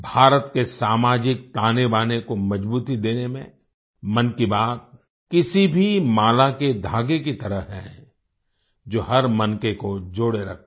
भारत के सामाजिक तानेबाने को मजबूती देने में मन की बात किसी भी माला के धागे की तरह है जो हर मनके को जोड़े रखता है